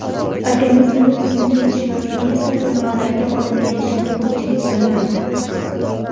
Organizmda tuzning yetishmasligi esa nimalarga olib kelishini ko‘pchilik bilmaydi.